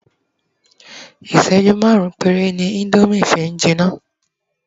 iṣẹju marun pere ni Indomie fi n jina